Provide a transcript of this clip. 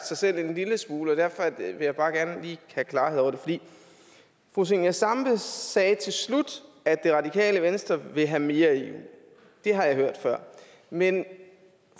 sig selv en lille smule og derfor vil jeg bare gerne lige have klarhed over det fru zenia stampe sagde til slut at radikale venstre vil have mere eu det har jeg hørt før men